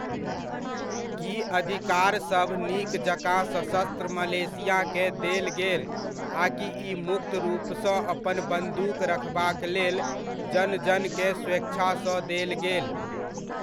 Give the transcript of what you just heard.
की अधिकारसभ नीक जकाँ सशस्त्र मलेशियाकेँ देल गेल आकि ई मुक्त रूपसँ अपन बन्दूक रखबाक लेल जन जनकेँ स्वेच्छासँ देल गेल ?